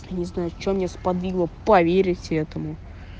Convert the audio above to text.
не знаю че меня сподвигло поверить этому